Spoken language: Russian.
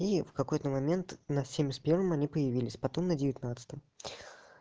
и в какой-то момент на семьдесят первом они появились потом на девятнадцатом